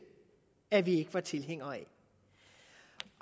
at vi ikke var tilhængere